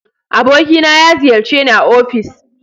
Abokina na ya ziyarce ni a ofis